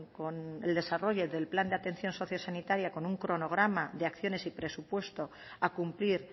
con el desarrollo del plan de atención sociosanitaria con un cronograma de acciones y presupuesto a cumplir